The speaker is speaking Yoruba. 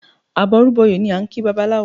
Àbọrúbọyè ni a ń kí babaláwo